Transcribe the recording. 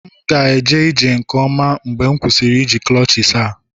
M ga-eje ije nke ọma mgbe m kwụsịrị iji clutches a